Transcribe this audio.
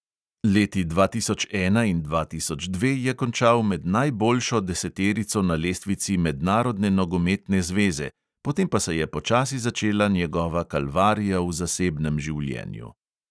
Leti dva tisoč ena in dva tisoč dva je končal med najboljšo deseterico na lestvici mednarodne nogometne zveze, potem pa se je počasi začela njegova kalvarija v zasebnem življenju.